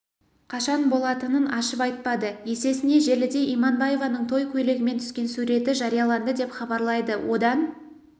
қашан болатынын ашып айтпады есесіне желіде иманбаеваның той көйлегімен түскен суреті жарияланды деп хабарлайды одан